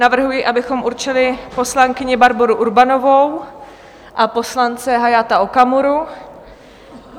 Navrhuji, abychom určili poslankyni Barboru Urbanovou a poslance Hayata Okamuru.